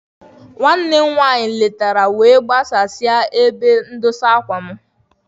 Nwanne m nwanyị nke m tọrọ letara wee gbasasịa uwe mwụda m.